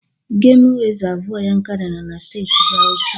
Gemụ rizavụ Yankari nọ na Steeti Bawuchi.